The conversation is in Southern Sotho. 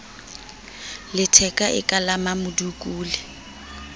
letheka e ka la mmamodukule